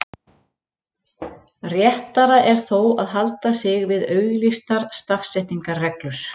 réttara er þó að halda sig við auglýstar stafsetningarreglur